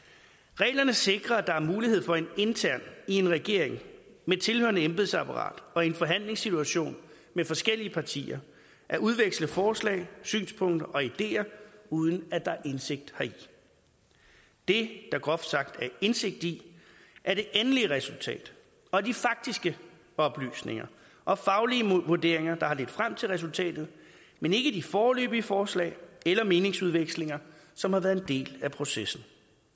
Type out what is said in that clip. reglerne sikrer at der er mulighed for internt i en regering med tilhørende embedsapparat og i en forhandlingssituation med forskellige partier at udveksle forslag synspunkter og ideer uden at der er indsigt heri det der groft sagt er indsigt i er det endelige resultat og de faktiske oplysninger og faglige vurderinger der har ledt frem til resultatet men ikke de foreløbige forslag eller meningsudvekslinger som har været en del af processen